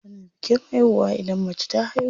Ana bikin haihuwa idan mace ta haihu.